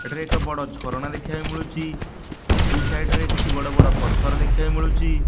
ଏଠାରେ ଏକ ବଡ ଝରଣା ଦେଖିବା ପାଇ ମିଳୁଛି। ଦୁଇ ସାଇଡ଼ ରେ କିଛି ବଡ ବଡ ପଥର ଦେଖିବା ପାଇ ମିଳୁଛି।